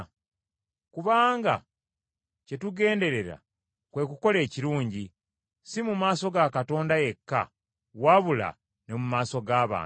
Kubanga kye tugenderera kwe kukola ebirungi, si mu maaso ga Katonda yekka wabula ne mu maaso g’abantu.